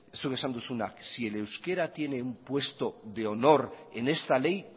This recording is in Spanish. zuk esan duzuna si el euskera tiene un puesto de honor en esta ley